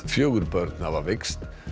fjögur börn hafa veikst